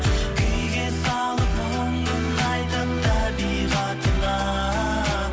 күйге салып мұңын айтып табиғатына